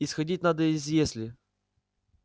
исходить надо из если